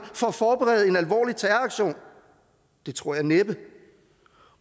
for at forberede en alvorlig terroraktion det tror jeg næppe